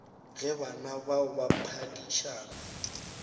ge bana bao ba phedišana